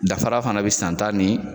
Danfara fana be san ta ni